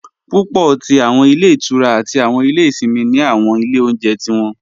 Púpọ̀ tí awọn ilẹ̀ ìtúrá àti awọn ilẹ̀ ìṣìnmi ni awọn ilẹ̀ ọ̀unjẹ̀ tí wọn.